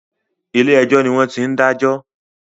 Ilé ẹjọ́ ni wọ́n ti ń dájọ́